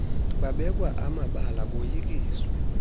babekwa amabala boyikiswe